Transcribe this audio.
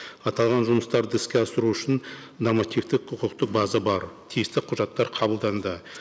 аталған жұмыстарды іске асыру үшін нормативтік құқықтық база бар тиісті құжаттар қабылданды